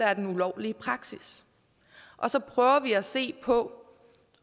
er den ulovlige praksis og så prøver vi at se på